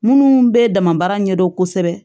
Minnu bɛ damabaara ɲɛdɔn kosɛbɛ